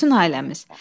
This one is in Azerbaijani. Bütün ailəmiz.